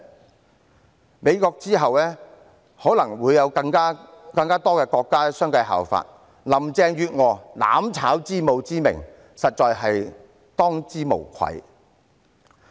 繼美國之後，可能會有更多國家相繼效法，林鄭月娥"攬炒之母"之名，實在是當之無愧。